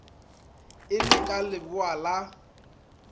e le ka leboa la